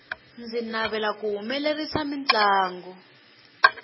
ndzi navera ku humelerisa mintlangu